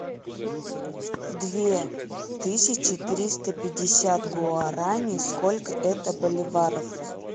две тысячи триста пятьдесят гуарани сколько это боливаров